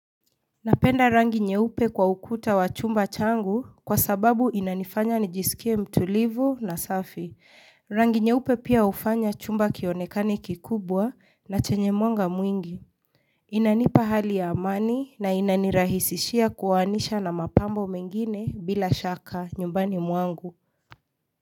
Napenda rangi nyeupe kwa ukuta wa chumba changu kwa sababu inanifanya nijisikie mtulivu na safi. Rangi nyeupe pia hufanya chumba kionekane kikubwa na chenye mwanga mwingi. Inanipa hali ya amani na inanirahisishia kuoanisha na mapambo mengine bila shaka nyumbani mwangu.